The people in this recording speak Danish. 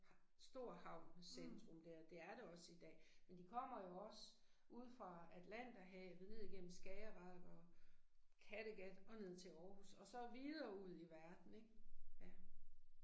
Stor havn, centrum der, det er det også i dag, men de kommer jo også ude fra Atlanterhavet ned igennem Skagerak og Kattegat og ned til Aarhus så videre ud i verden ik, ja